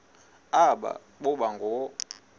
aba boba ngoo